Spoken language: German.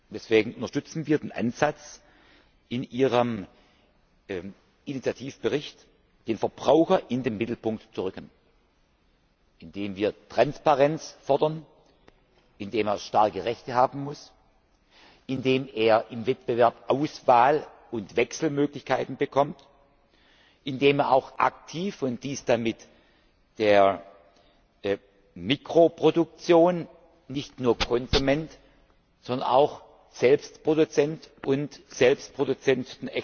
Deswegen unterstützen wir den Ansatz in Ihrem Initiativbericht, den Verbraucher in den Mittelpunkt zu rücken, indem wir Transparenz fordern, indem er starke Rechte haben muss, indem er im Wettbewerb Auswahl und Wechselmöglichkeiten bekommt, indem auch er aktiv und mit der Mikroproduktion nicht nur als Konsument, sondern auch selbst als Produzent und Selbstproduzent